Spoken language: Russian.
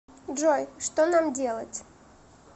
джой что нам делать